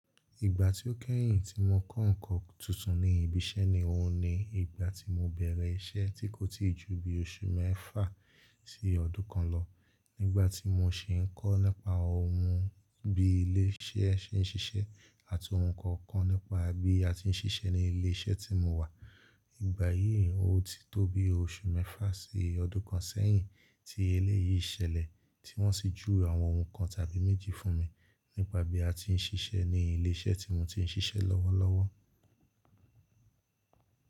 Ìgbà tí ó kẹ́yìn tí mo kọ́ nǹkan tuntun ní ibi iṣẹ́ ni òun ni ìgbà tí mo bẹ̀rẹ̀ iṣẹ́ tí kò tí ì ju bí oṣù mẹ́fà sí ọdún kan lọ. Nígbà tí mo si ń kọ́ nípa òhun bí ilé iṣẹ́ se ń ṣiṣẹ́ àti ohun kan kan nípa bí a ti ń ṣiṣẹ́ ní ilé iṣẹ́ tí mo wà. Ìgbà yìí, ó ti tó bi oṣù mẹ́fà sí ọdún kan sẹ́yìn tí eléyìí ṣẹlẹ̀, tí wọ́n sì juwe àwọn ohun kan tàbí méjì fún mi nípa bí a ti ń ṣiṣẹ́ ní ilé iṣẹ́ tí mo ti ń ṣiṣẹ́ lọ́wọ́ lọ́wọ́.